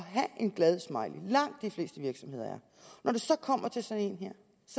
have en glad smiley det langt de fleste virksomheder når det kommer til sådan